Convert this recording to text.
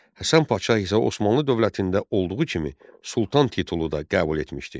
Həsən Padşah isə Osmanlı dövlətində olduğu kimi sultan titulu da qəbul etmişdi.